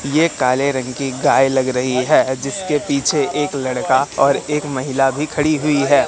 ये काले रंग की गाय लग रही है जिसके पीछे एक लड़का और एक महिला भी खड़ी हुई है।